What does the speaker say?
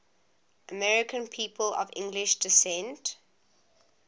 american people of english descent